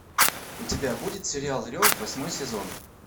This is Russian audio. у тебя будет сериал рев восьмой сезон